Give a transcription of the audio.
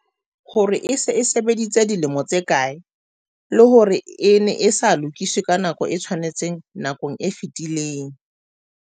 hore e se e sebeditse dilemo tse kae, le hore e ne e sa lokiswe ka nako e tshwanetseng nakong e fetileng.